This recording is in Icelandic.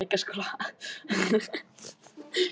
Svo talaði hún lágt við mömmu.